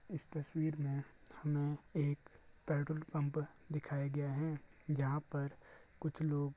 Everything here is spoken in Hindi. इस तस्वीर में हमें एक पेट्रोल पंप दिखाया गया है जहाँ पर कुछ लोग --